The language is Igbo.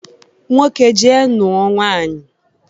Nwoke jee nụọ nwaanyị!